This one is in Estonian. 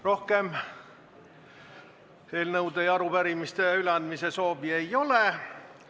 Rohkem eelnõude ja arupärimiste üleandmise soovi ei ole.